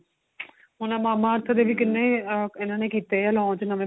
ਹੁਣ ਆ mama earth ਦੇ ਵੀ ਕਿੰਨੇ ਇੰਨਾ ਨੇ ਕੀਤੇ ਏ launch ਨਵੇਂ